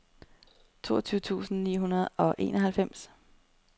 toogtyve tusind ni hundrede og enoghalvfems